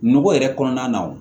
Nogo yɛrɛ kɔnɔna na wo